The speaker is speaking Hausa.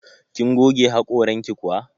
Kin goge haƙoranki kuwa?